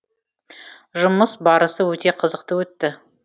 жұмыс барысы өте қызықты өтті